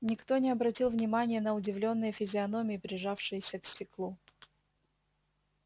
никто не обратил внимания на удивлённые физиономии прижавшиеся к стеклу